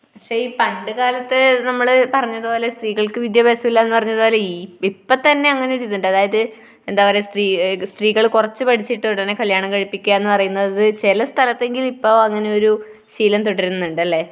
പക്ഷെ ഈ പണ്ടുകാലത്ത് നമ്മൾ പറഞ്ഞതുപോലെ സ്ത്രീകൾക്ക് വിദ്യാഭ്യാസമില്ല ഏന് പറഞ്ഞത് പോലെ ഈ ഇപ്പത്തന്നെ അങ്ങനെ ഒരു ഇതുണ്ട്. അതായത് എന്താ പറയുക സ്ത്രീ, സ്ത്രീകൾ കുറച്ചു പഠിച്ചിട്ട് ഉടനെ കല്യാണം കഴിപ്പിക്കുക എന്ന് പറയുന്നത് ചില സ്ഥലത്തെങ്കിലും ഇപ്പൊ അങ്ങനെ ഒരു ശീലം തുടരുന്നുണ്ട് അല്ലെ?